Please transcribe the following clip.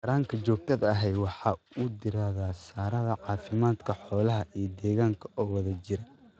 Taranka joogtada ahi waxa uu diiradda saaraa caafimaadka xoolaha iyo deegaanka oo wada jira.